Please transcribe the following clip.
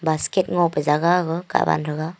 basket ngope jaga gag kahwan thega.